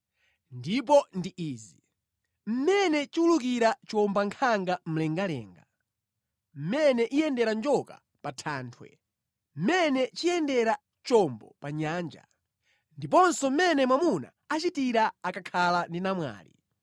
Ndipo ndi izi: mmene chiwulukira chiwombankhanga mlengalenga; mmene iyendera njoka pa thanthwe; mmene chiyendera chombo pa nyanja; ndiponso mmene mwamuna achitira akakhala ndi namwali.